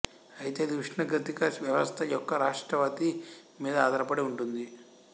అయితే అది ఉష్ణగతిక వ్యవస్థ యొక్క రాష్ట్రావతి మీద ఆధారపడి ఉంటుంది